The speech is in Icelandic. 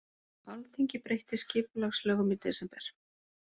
Alþingi breytti skipulagslögum í desember